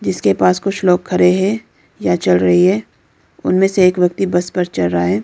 जिसके पास कुछ लोग खड़े हैं या चल रही है उनमें से एक व्यक्ति बस पर चढ़ रहा है।